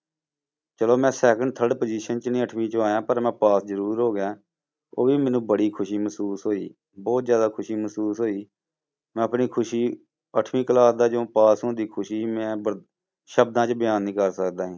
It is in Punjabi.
ਚਲੋ ਮੈਂ second, third position 'ਚ ਨੀ ਅੱਠਵੀਂ ਚੋਂ ਆਇਆਂ ਪਰ ਮੈਂ ਪਾਸ ਜ਼ਰੂਰ ਹੋ ਗਿਆ, ਉਹ ਵੀ ਮੈਨੂੰ ਬੜੀ ਖ਼ੁਸ਼ੀ ਮਹਿਸੂਸ ਹੋਈ, ਬਹੁਤ ਜ਼ਿਆਦਾ ਖ਼ੁਸ਼ੀ ਮਹਿਸੂਸ ਹੋਈ, ਮੈਂ ਆਪਣੀ ਖ਼ੁਸ਼ੀ ਅੱਠਵੀਂ class ਦਾ ਜੋ ਪਾਸ ਹੋਣ ਦੀ ਖ਼ੁਸ਼ੀ ਸੀ ਮੈਂ ਬ~ ਸ਼ਬਦਾਂ 'ਚ ਬਿਆਨ ਨੀ ਕਰ ਸਕਦਾ।